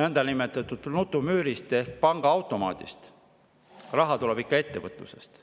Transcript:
nõndanimetatud nutumüürist ehk pangaautomaadist, raha tuleb ikka ettevõtlusest.